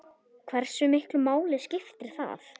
Hversu miklu máli skiptir það?